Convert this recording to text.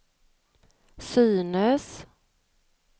synes